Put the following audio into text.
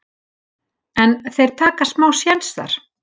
en þeir taka smá séns þar.